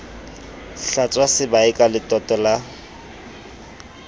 hlwatswa sebae ka letoto la